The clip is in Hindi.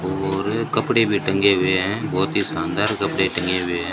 और कपड़े भी टंगे हुए हैं बहुत ही शानदार कपड़े टंगे हुए हैं।